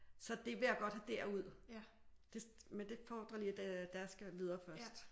Så det vil jeg godt have derud men det fordrer lige at deres skal videre først